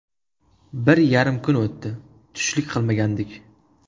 Bir yarim kun o‘tdi, tushlik qilmagandik.